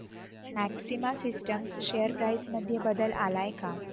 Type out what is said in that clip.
maxima systems share price मध्ये बदल आलाय का